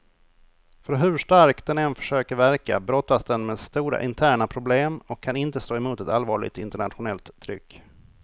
För hur stark den än försöker verka, brottas den med stora interna problem och kan inte stå emot ett allvarligt internationellt tryck.